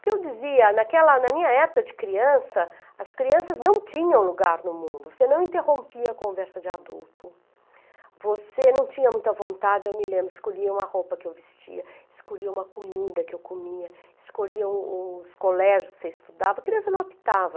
Porque eu dizia, naquela, na minha época de criança, as crianças não tinham lugar no mundo, você não interrompia a conversa de adulto, você não tinha muita vontade, eu me lembro, escolhiam a roupa que eu vestia, escolhiam a comida que eu comia, escolhiam os colégios que você estudava, a criança não optava.